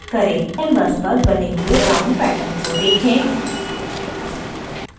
canvas पर बने हुए round pattern को देखें